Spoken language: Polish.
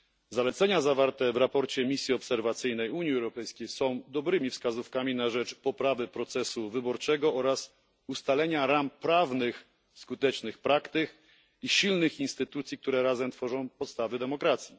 Zalecenia zawarte w raporcie misji obserwacyjnej Unii Europejskiej są dobrymi wskazówkami na rzecz poprawy procesu wyborczego oraz ustalenia ram prawnych, skutecznych praktyk i silnych instytucji, które razem tworzą podstawę demokracji.